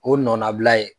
O nɔnnabila ye